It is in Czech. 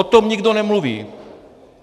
O tom nikdo nemluví.